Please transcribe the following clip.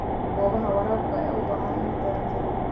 Goobaha waraabka ayaa u baahan in la dayactiro.